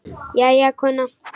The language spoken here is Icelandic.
Jæja, kona.